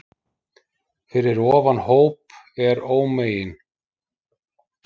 Fyrir ofan hóp er ómegin